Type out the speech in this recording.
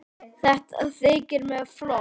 Þetta þykir mér flott!